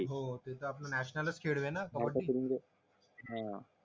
हो ते तर आपलं नॅशनलच खेळ आहे कबड्डी